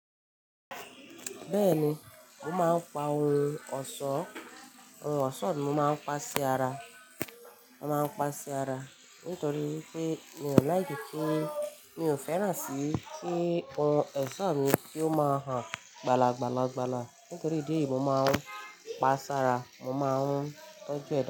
Bẹ́ẹ̀ni, mo máa ń pa ohun ọ̀ṣọ́, ohun ọ̀ṣọ́ mi mo máa ń pa sí ara, mo máa ń pa sí ara nítorí wípé mi ò like ki, mi ò fẹ́ràn sí kí ohun èṣọ́ mi kí ó má han gbala, gbala, gbala nítorí ìdí èyí mo máa ń pa sára, mo máa ń tọ́jú ẹ̀ da.